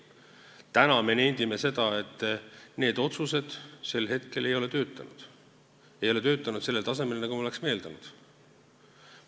Täna me nendime, et need otsused ei ole töötanud, need ei ole töötanud sellel tasemel, nagu me oleksime eeldanud.